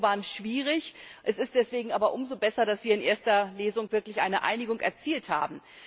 Die Triloge waren schwierig, es ist deswegen aber umso besser, dass wir in erster Lesung wirklich eine Einigung erzielt haben.